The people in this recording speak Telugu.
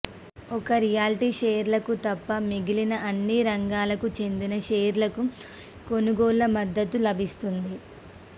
ఒక్క రియల్టీ షేర్లకు తప్ప మిగిలిన అన్ని రంగాలకు చెందిన షేర్లకు కొనుగోళ్ల మద్దతు లభిస్తోంది